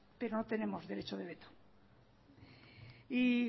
pero no tenemos derecho de veto y